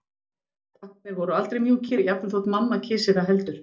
Pakkarnir voru aldrei mjúkir, jafnvel þótt mamma kysi það heldur.